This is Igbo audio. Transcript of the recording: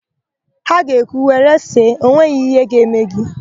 Ha ga ekwu, "were see, enweghị íhé ga-eme gị"!